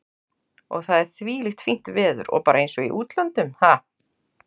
Og það er þvílíkt fínt veður og bara eins og í útlöndum, ha?